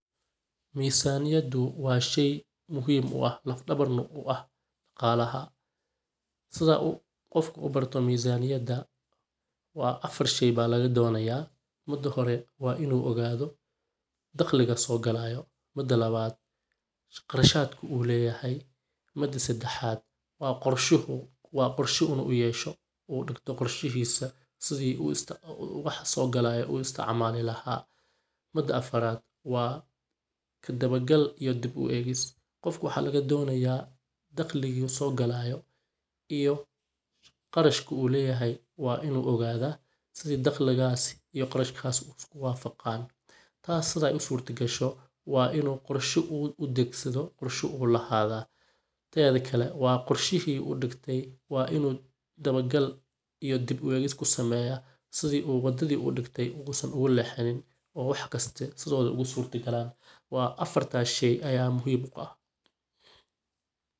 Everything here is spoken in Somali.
Misaniyadu waa shey muhim u ah laf dhabar na u ah dhaqalaha, sida qof uu ubarto misaniyada waa afar shey baa laga donaya, mida hore waa inu ogaado daqliga soo galayo, mida labad qarashadka uu leyahay, mida sedexad waa qorsha inu uyeshto uu dhigto qorshihiisa sidi waxa soo galayo uu isticmaali lahaa, mida afarad waa kadaba gal iyo dib u egis, qofka waxaa laga donaya dhaqliga soo galayo iyo qarashka uu leyahay waa inu ogada sidi daqligas iyo qarashadkaasi isku wafaqan tas siday usurta gasho waa inu qorsho udegsado qorsha uledahay, tedikale waa qorshihi uu dhigte waa in uu daba gal iyo dib u egis kusameeya sidi wadadii uu dhigtay Usan ogu lexanin oo wax kiste sidoodi ogu surta gaalan, waa afarta shey aya muhim u ah